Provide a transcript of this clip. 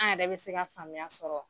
An yɛrɛ bɛ se ka faamuya sɔrɔ.